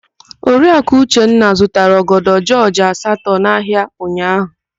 Oriaku Uchenna zụtara ọgọdọ jọọjị asatọ n'ahịa ụnyaahụ.